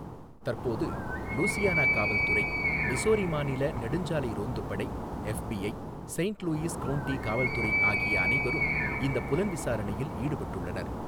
தற்போது லூசியானா காவல் துறை, மிசோரி மாநில நெடுஞ்சாலை ரோந்துப் படை, எஃப்பிஐ, செயின்ட் லூயிஸ் கவுண்டி காவல் துறை ஆகிய அனைவரும் இந்தப் புலன்விசாரணையில் ஈடுபட்டுள்ளனர்.